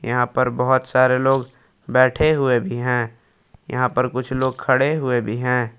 यहां पर बहुत सारे लोग बैठे हुए भी हैं यहां पर कुछ लोग खड़े हुए भी हैं।